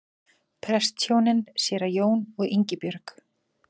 Prestshjónin séra Jón og Ingibjörg